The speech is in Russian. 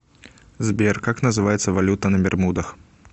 сбер как называется валюта на бермудах